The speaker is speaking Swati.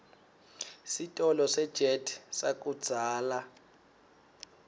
sitolo sejet sakudzala